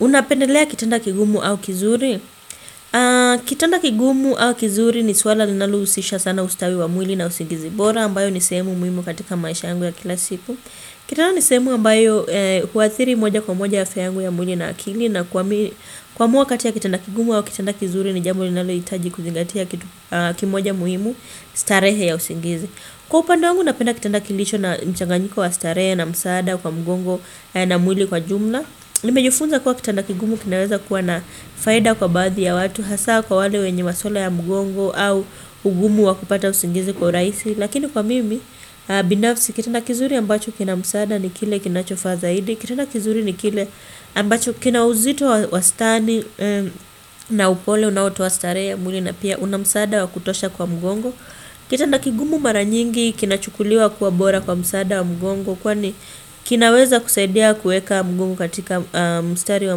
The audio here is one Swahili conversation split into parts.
Unapendelea kitanda kigumu au kizuri? Kitanda kigumu au kizuri ni swala linalo usisha sana ustawi wa mwili na usingizi bora ambayo ni sehemu muhimu katika maisha yangu ya kila siku. Kitanda nisehemu ambayo huwathiri moja kwa moja afya yangu ya mwili na akili na kuamua kati ya kitanda kigumu au kitanda kizuri ni jambo linalo itaji kuzingatia kitu kimoja muhimu starehe ya usingizi. Kwa upande wangu napenda kitanda kilicho na mchanganyiko wa starehe na msaada kwa mgongo na mwili kwa jumla. Nimejufunza kuwa kitana kigumu kinaweza kuwa na faida kwa baadhi ya watu Hasaa kwa wale wenye maswala ya mgongo au ugumu wakupata usingizi kwa uraisi Lakini kwa mimi, binafsi kitanda kizuri ambacho kinamsaada ni kile kinachofaa zaidi Kitanda kizuri ni kile ambacho kinauzito wastani na upole unaotoa starehe ya mwili na pia una msaada wakutosha kwa mgongo Kitanda kigumu maranyingi kinachukuliwa kuwa bora kwa msaada wa mgongo Kwani kinaweza kusaidia kuweka mgongo katika mstari wa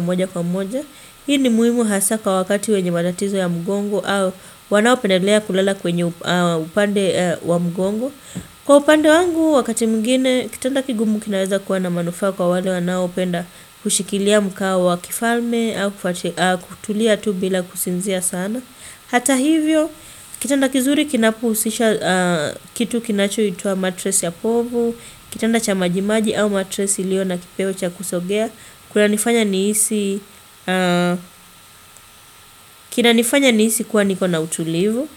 moja kwa moja Hii ni muhimu hasa kwa wakati wenye matatizo ya mgongo au wanao pendelea kulela kwenye upande wa mgongo Kwa upande wangu wakati mwingine Kitanda kigumu kinaweza kuwa na manufaa kwa wale wanao penda kushikilia mkao wa kifalme au kutulia tu bila kusinzia sana Hata hivyo kitanda kizuri kinapo usisha kitu kinacho itwa matress ya povu Kitanda cha majimaji au matress iliyo na kipeo cha kusogea Kuna nifanya niisi kuwa niko na utulivu.